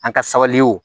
An ka sabali o